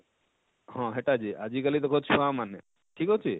ହଁ ହେଟା ଯେ ଆଜିକାଲି ଦେଖ ଛୁଆ ମାନେ ଠିକ ଅଛେ?